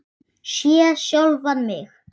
Sé sjálfan mig.